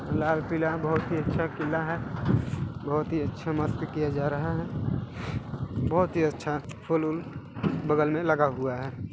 लाल -पीला बहुत ही अच्छा किला है बहुत ही अच्छा मस्त किया जा रहा है बहुत ही अच्छा फूल -वूल बगल में लगा हुआ हैं।